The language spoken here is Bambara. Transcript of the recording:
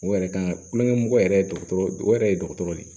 O yɛrɛ kan kulonkɛ mɔgɔ yɛrɛ ye dɔgɔtɔrɔ o yɛrɛ ye dɔgɔtɔrɔ de ye